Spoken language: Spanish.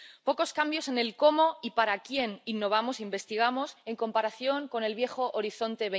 Pocos cambios en el cómo y para quién innovamos e investigamos en comparación con el viejo Horizonte